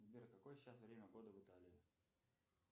сбер какое сейчас время года в италии